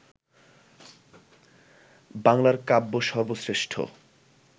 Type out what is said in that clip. বাংলার কাব্য সর্বশ্রেষ্ঠ